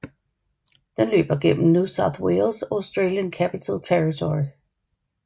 Den løber gennem New South Wales og Australian Capital Territory